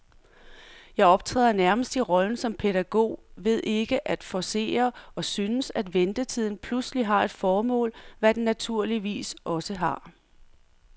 Jeg optræder nærmest i rollen som pædagog ved ikke at forcere, og synes, at ventetiden pludselig har et formål, hvad den naturligvis også har.